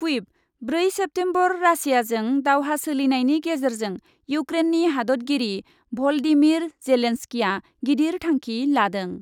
क्विभ, ब्रै सेप्तेम्बर रासियाजों दावहा सोलिनायनि गेजेरजों इउक्रेननि हादतगिरि भलडिमिर जेलेनस्किआ गिदिर थांखि लादों ।